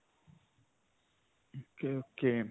ok. ok.